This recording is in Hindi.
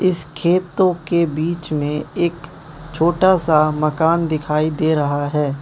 इस खेतों के बीच में एक छोटा सा मकान दिखाई दे रहा है।